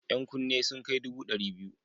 Yan kunne sun kai dubu ɗari biyu.